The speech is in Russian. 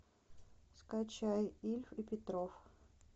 скачай ильф и петров